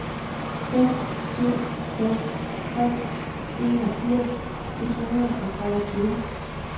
fem syv seks tre enogfirs et hundrede og treogtyve